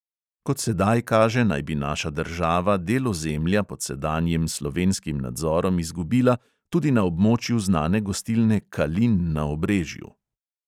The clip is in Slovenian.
Kot sedaj kaže, naj bi naša država del ozemlja pod sedanjim slovenskim nadzorom izgubila tudi na območju znane gostilne kalin na obrežju.